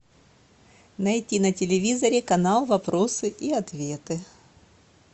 найти на телевизоре канал вопросы и ответы